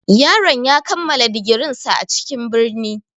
Yaron ya kammala digirinsa a cikin birni.